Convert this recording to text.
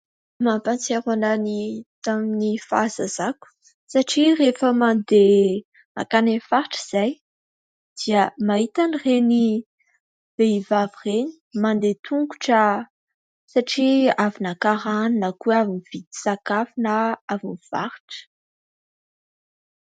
Mampahatsiaro ahy ny tamin'ny fahazazako, satria rehefa mandeha mankany amin'ny faritra izahay dia mahita an'ireny vehivavy ireny mandeha an-tongotra satria avy naka rano, na koa hoe avy nividy sakafo, na avy nivarotra.